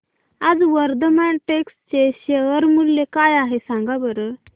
आज वर्धमान टेक्स्ट चे शेअर मूल्य काय आहे सांगा बरं